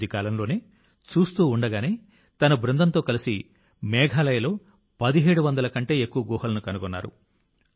కొద్ది కాలంలోనే చూస్తూ ఉండగానే తన బృందంతో కలిసి మేఘాలయలో 1700 కంటే ఎక్కువ గుహలను కనుగొన్నారు